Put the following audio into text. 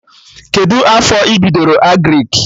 Kedụ afọ ị bidoro Agrịk?